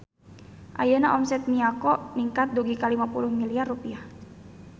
Ayeuna omset Miyako ningkat dugi ka 50 miliar rupiah